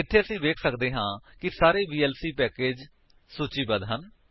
ਇੱਥੇ ਅਸੀ ਵੇਖ ਸਕਦੇ ਹਾਂ ਕਿ ਸਾਰੇ ਵੀਐਲਸੀ ਪੈਕੇਜਸ ਸੂਚੀਬੱਧ ਹਨ